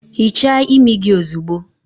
Hichaa imi gị ozugbo!